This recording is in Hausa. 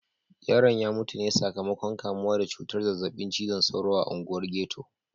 Yaron ya mutu ne sakamakon kamuwa da cutar zazzabin cizon sauro a unguwar ghetto.